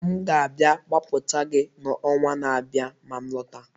M ga-abịa gbapụta gị n'ọnwa na-abịa ma m lọta